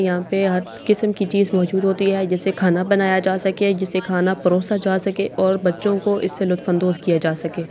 यहाँ पर हर किसम कि चीज मौजूद होती है जिससे खाना बनाया जा सके जिससे खाना परोसा जा सके और बच्चो को इससे लसफंदोस किया जा सके ।